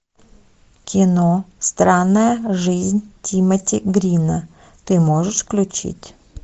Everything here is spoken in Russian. кино странная жизнь тимоти грина ты можешь включить